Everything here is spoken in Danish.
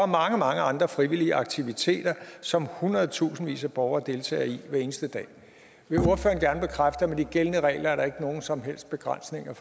mange mange andre frivillige aktiviteter som hundredtusindvis af borgere deltager i hver eneste dag vil ordføreren gerne bekræfte at med de gældende regler er der ikke nogen som helst begrænsninger i